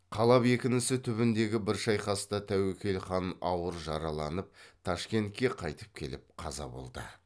қала бекінісі түбіндегі бір шайқаста тәуекел хан ауыр жараланып ташкентке қайтып келіп қаза болды